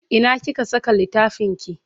Ina kika saka littafinki?